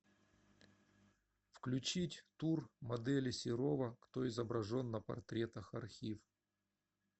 включить тур модели серова кто изображен на портретах архив